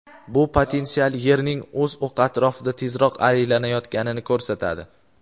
Bu potensial Yerning o‘z o‘qi atrofida tezroq aylanayotganini ko‘rsatadi.